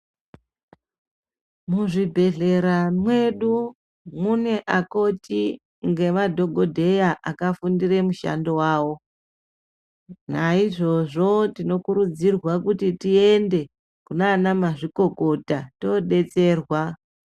Muzvi bhedhlera medu mune akoti ngema dhokoteya aka fundira mishando wavo naizvozvo tino kurudzirwa kuti tiende kuna ana mazvikokota tobetserwa.